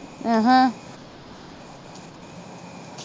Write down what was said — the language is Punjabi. ਅਹ